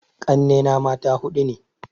Ƙanne na mata huɗu ne